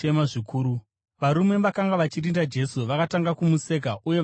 Varume vakanga vachirinda Jesu vakatanga kumuseka uye vakamurova.